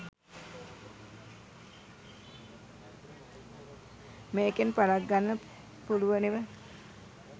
මේකෙන් පලක් ගන්න පුලුව නෙව.